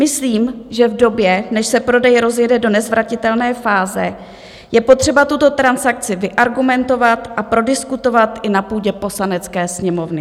Myslím, že v době, než se prodej rozjede do nezvratitelné fáze, je potřeba tuto transakci vyargumentovat a prodiskutovat i na půdě Poslanecké sněmovny.